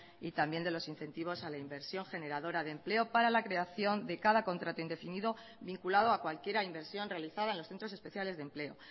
y también de los incentivos a la inversión generadora de empleo para la creación de cada contrato indefinido vinculado a cualquier inversión realizada en los centros especiales de empleo